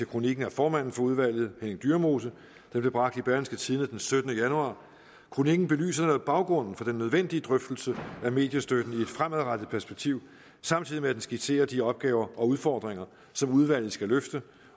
kronik af formanden for udvalget henning dyremose der blev bragt i berlingske tidende den syttende januar kronikken belyser baggrunden for den nødvendige drøftelse af mediestøtten i et fremadrettet perspektiv samtidig med at den skitserer de opgaver og udfordringer som udvalget skal løfte